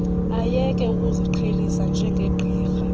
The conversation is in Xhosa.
ayeke ukuziqhelisa njengegqirha